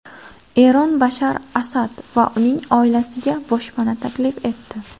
Eron Bashar Asad va uning oilasiga boshpana taklif etdi.